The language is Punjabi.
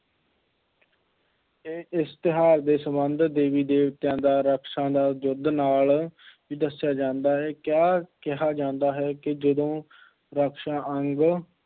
ਇਹ ਇਸ ਤਿਉਹਾਰ ਦੇ ਸੰਬੰਧ ਦੇਵੀ-ਦੇਵਤਿਆਂ ਦਾ ਰਾਖਸ਼ਾਂ ਦਾ ਯੁੱਧ ਨਾਲ ਵੀ ਦੱਸਿਆ ਜਾਂਦਾ ਹੈ, ਕਿਹਾ ਕਿਹਾ ਜਾਂਦਾ ਹੈ ਜਦੋਂ ਰਾਖਸ਼ਾਂ ਅੰਗ